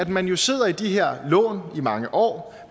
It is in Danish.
man jo sidder i de her lån i mange år